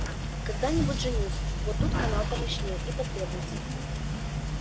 когда-нибудь женюсь вот тут канал помощнее и потребуется